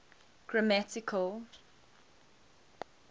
grammatical